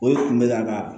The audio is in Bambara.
O de kun bɛ ka